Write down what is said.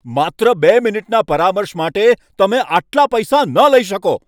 માત્ર બે મિનિટના પરામર્શ માટે તમે આટલા પૈસા ન લઈ શકો!